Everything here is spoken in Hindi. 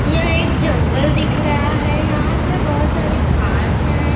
यह एक जंगल दिख रहा है यहाँ पे बहुत सारे घास है पेड़ --